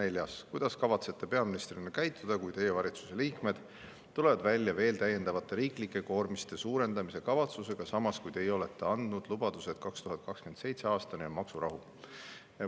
" Ja neljas: "Kuidas kavatsete peaministrina käituda, kui Teie valitsuse liikmed tulevad välja veel täiendavate riiklike koormiste suurendamise kavatsusega, samas kui Teie olete andnud lubaduse, et 2027. aastani on maksurahu?